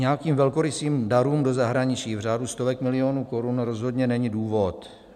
Nějakým velkorysým darům do zahraničí v řádu stovek milionů korun rozhodně není důvod.